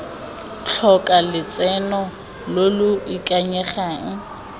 tlhoka lotseno lo lo ikanyegang